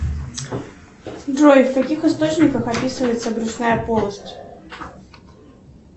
джой в каких источниках описывается брюшная полость